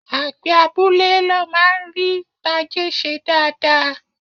Àgbẹ̀ abúlé ló máa ń rí tajé ṣe dáadáa